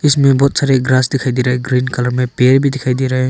इसमें बहुत सारे ग्रास दिखाई दे रहा है ग्रीन कलर में पेड़ भी दिखाई दे रहा है।